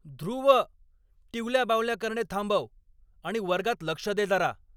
ध्रुव, टिवल्या बावल्या करणे थांबव आणि वर्गात लक्ष दे जरा!